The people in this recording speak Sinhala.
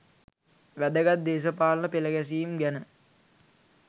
වැදගත් දේශපාලන පෙළගැසීම් ගැන